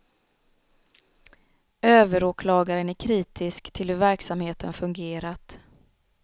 Överåklagaren är kritisk till hur verksamheten fungerat.